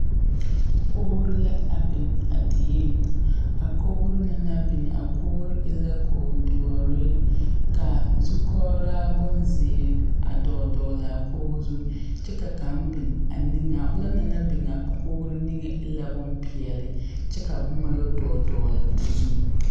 Koɡiro la a biŋ a dieŋ a koɡiro na naŋ biŋ a koɡiro e la koɡidoɔre ka zukɔɡraa bonziiri a dɔɔdɔɔle a koɡi zu kyɛ ka kaŋ biŋ a niŋeŋ a ona naŋ biŋ a koɡro niŋeŋ e la bompeɛle kyɛ ka boma yɛ dɔɔdɔɔle o zu.